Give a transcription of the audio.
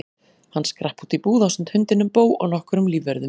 Hann skrapp út í búð ásamt hundinum Bo og nokkrum lífvörðum.